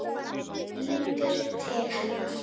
Lítur til hennar.